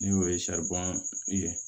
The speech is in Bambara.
N'o ye ye